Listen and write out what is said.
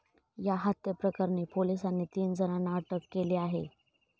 या हत्येप्रकरणी पोलिसांनी तीन जणांना अटक केली आहे.